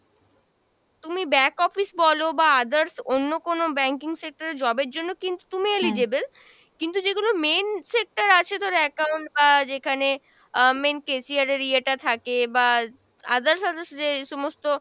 তুমি back office বলো বা others অন্য কোনো banking sector এ job এর জন্য কিন্তু তুমি eligible, কিন্তু যেগুলো main sector আছে তোর account বা যেখানে আহ main cashier এর ইয়েটা থাকে বা others others যে সমস্ত